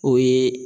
O ye